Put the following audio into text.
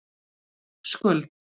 Skuld